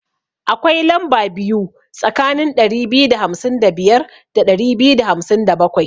Akwai lamba biyu tsakanin ɗari biyu da hamsin da biyar da ɗari biyu da hamsin da bakwai.